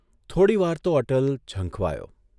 થોડીવાર તો અટલ ઝંખવાયો.